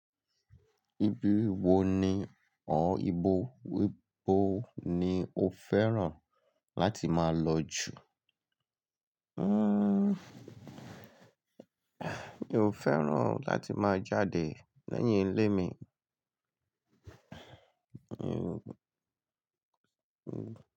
Ibi wo ni or ibo ibo ni o fẹ́ràn láti máa lọ jù? Hmm, mi o fẹ́ràn láti máa jáde lẹ́yìn ilé mi.